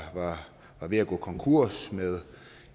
ved at gå konkurs med